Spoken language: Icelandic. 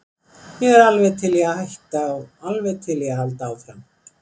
Ég er alveg til í að hætta og alveg til í að halda áfram.